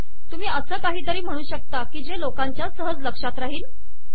तुम्ही असे काहीतरी म्हणू शकता की जे लोकांच्या सहज लक्षात राहील